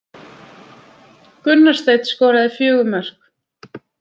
Gunnar Steinn skoraði fjögur mörk